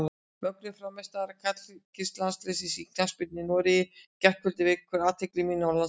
Mögnuð frammistaða karlalandsliðsins í knattspyrnu í Noregi í gærkvöldi vekur athygli mína og landsmanna.